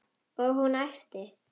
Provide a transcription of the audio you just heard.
Og hún æpti.